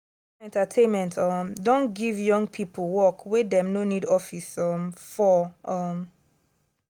social media entertainment um don give young people work wey dem no need office um for. um